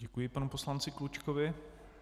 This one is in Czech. Děkuji panu poslanci Klučkovi.